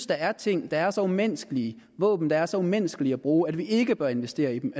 der er ting der er så umenneskelige våben der er så umenneskelige at bruge at vi ikke bør investere i dem